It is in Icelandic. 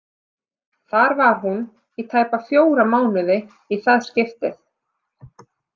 Þar var hún í tæpa fjóra mánuði í það skiptið.